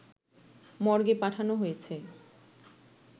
মর্গে পাঠানো হয়েছে।